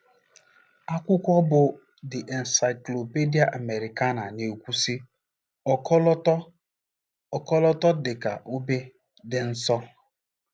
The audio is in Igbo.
Akwụkwọ bụ́ The Encyclopedia Americana na-ekwu, sị: “ Ọkọlọtọ: “ Ọkọlọtọ, dị ka obe, dị nsọ .”